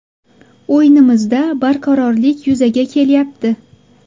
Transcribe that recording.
O‘yinimizda barqarorlik yuzaga kelyapti.